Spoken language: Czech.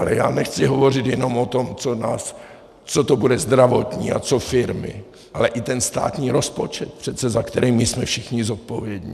Ale já nechci hovořit jenom o tom, co to bude zdravotní a co firmy, ale i ten státní rozpočet přece, za který my jsme všichni zodpovědní.